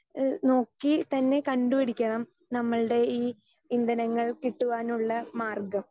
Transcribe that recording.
speaker 2 എ നോക്കിത്തന്നെ കണ്ടുപിടിക്കണം നമ്മളുടെ ഈ ഇന്ധനങ്ങൾ കിട്ടുവാനുള്ള മാർഗം